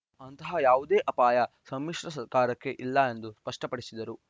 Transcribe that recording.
ಅಂತಹ ಯಾವುದೇ ಅಪಾಯ ಸಮ್ಮಿಶ್ರ ಸರ್ಕಾರಕ್ಕೆ ಇಲ್ಲ ಎಂದು ಸ್ಪಷ್ಟಪಡಿಸಿದರು